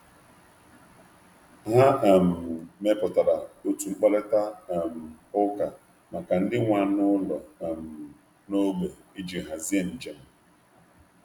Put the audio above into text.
Ha mepụtara otu mkparịta ụka maka ndị nwe anụ ụlọ n’ógbè iji hazie njem.